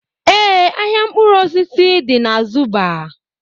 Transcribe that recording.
Ee, ahịa mkpụrụ osisi dị na Zuba